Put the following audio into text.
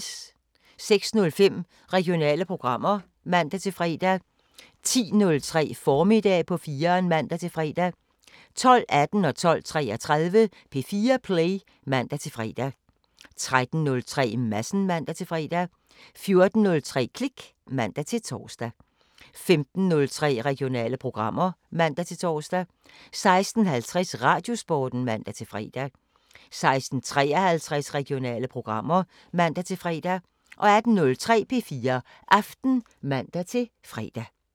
06:05: Regionale programmer (man-fre) 10:03: Formiddag på 4'eren (man-fre) 12:18: P4 Play (man-fre) 12:33: P4 Play (man-fre) 13:03: Madsen (man-fre) 14:03: Klik (man-tor) 15:03: Regionale programmer (man-tor) 16:50: Radiosporten (man-fre) 16:53: Regionale programmer (man-fre) 18:03: P4 Aften (man-fre)